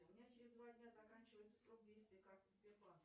у меня через два дня заканчивается срок действия карты сбербанка